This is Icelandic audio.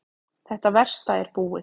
Þetta versta er búið.